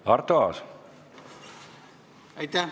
Aitäh!